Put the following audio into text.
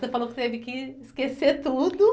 Você falou que teve que esquecer tudo.